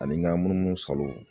Ani ŋa munumunusalon